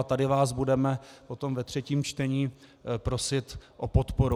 A tady vás budeme potom ve třetím čtení prosit o podporu.